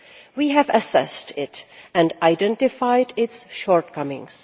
We have assessed it and identified its shortcomings.